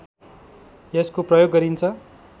यसको प्रयोग गरिन्छ